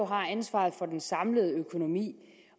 har ansvaret for den samlede økonomi